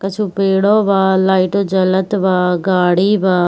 कछु पेड़ों बा लाइटो जलत बा गाड़ी बा।